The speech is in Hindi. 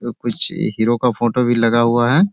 आ कुछ हीराे का फोटो भी लगा हुआ है।